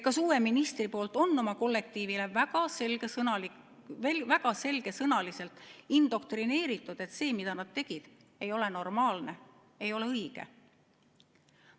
Kas uus minister on oma kollektiivile väga selgesõnaliselt indoktrineerinud, et see, mida nad tegid, ei ole normaalne, see ei ole õige?